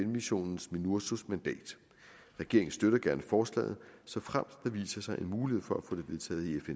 missionen minursos mandat regeringen støtter gerne forslaget såfremt der viser sig en mulighed for at få det vedtaget i